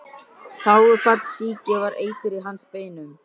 Þágufallssýki var eitur í hans beinum.